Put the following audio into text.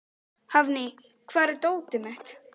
Hafný, hvar er dótið mitt?